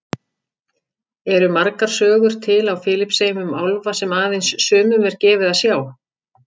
Eru margar sögur til á Filippseyjum um álfa sem aðeins sumum er gefið að sjá?